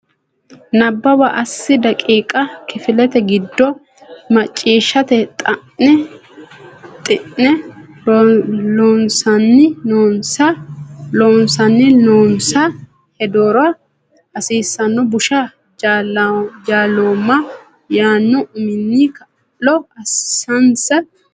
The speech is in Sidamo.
Nabbawa assi daqiiqa Kifilete giddo macciishshate xe ne Loossinanni noonsa heedhuro hasiissanno Busha Jaalooma yaanno uminni kaa lo assinsa Nabbawa.